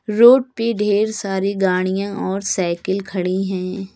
Road पे ढेर सारी गाड़िया और साईकिल खड़ी हैं।